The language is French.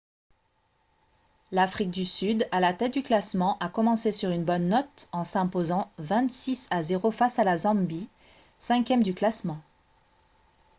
l'afrique du sud à la tête du classement a commencé sur une bonne note en s'imposant 26 à 0 face à la zambie 5e du classement